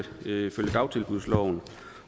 ifølge dagtilbudsloven